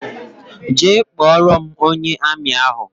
Jee kpọrọ m ónyé armi ahụ!!!